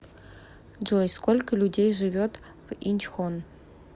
джой сколько людей живет в инчхон